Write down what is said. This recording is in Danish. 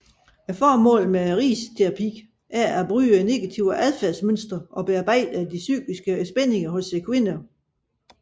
Formålet med risterapi er at bryde negative adfærdsmønstre og bearbejde psykiske spændinger hos kvinder